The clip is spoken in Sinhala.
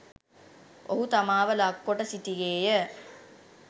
ඔහු තමාව ලක් කොට සිටියේය